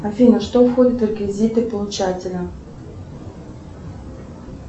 афина что входит в реквизиты получателя